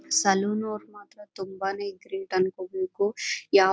salon ಅವರು ಮಾತ್ರ ತುಂಬಾನೇ ಗ್ರೇಟ್ ಅನ್ಕೋಬೇಕು ಯಾವ ತರ--